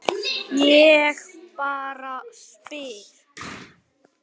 Ég bara spyr.